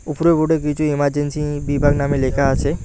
উপরে উঠে কিছু ইমারজেন্সি বিভাগ নামে লেখা আছে।